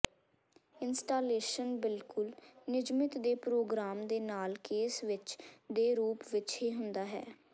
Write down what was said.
installation ਬਿਲਕੁਲ ਨਿਯਮਿਤ ਦੇ ਪ੍ਰੋਗਰਾਮ ਦੇ ਨਾਲ ਕੇਸ ਵਿੱਚ ਦੇ ਰੂਪ ਵਿੱਚ ਹੀ ਹੁੰਦਾ ਹੈ